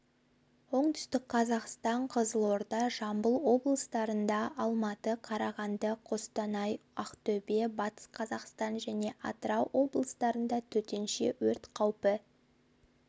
оңтүстік қазақстан қызылорда жамбыл облыстарында алматы қарағанды қостанай ақтөбе батыс қазақстан және атырау облыстарындатөтенше өрт қаупі